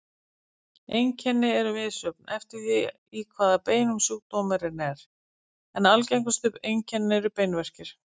Einkenni eru misjöfn eftir því í hvaða beinum sjúkdómurinn er, en algengustu einkenni eru beinverkir.